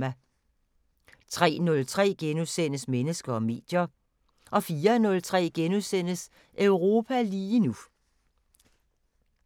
03:03: Mennesker og medier * 04:03: Europa lige nu *